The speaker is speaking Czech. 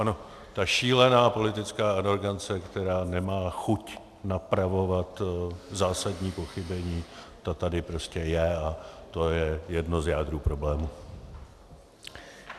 Ano, ta šílená politická arogance, která nemá chuť napravovat zásadní pochybení, ta tady prostě je a to je jedno z jader problému.